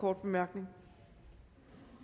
kort bemærkning